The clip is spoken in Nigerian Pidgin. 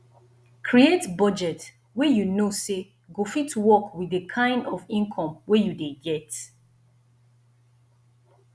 create budget wey you know say go fit work with the kind of income wey you dey get